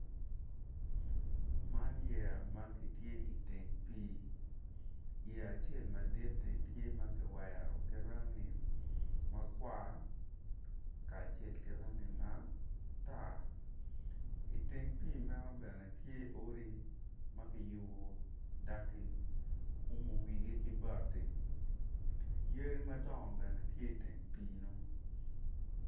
Man yeya ma gitye iteng pii yeya acel maditi tye ma ki wero ki rangi makwar kacel ki rangi matar iteng pii meno bene tye odi ma kiyubu dak ki umu wigi ki bati yadi madongo bene tye iteng pii-nu